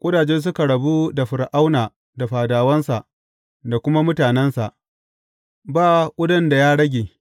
Ƙudaje suka rabu da Fir’auna da fadawansa da kuma mutanensa; ba ƙudan da ya rage.